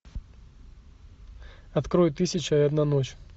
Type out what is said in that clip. открой тысяча и одна ночь